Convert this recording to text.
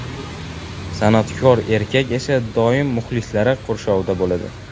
San’atkor erkak esa doim muxlislari qurshovida bo‘ladi.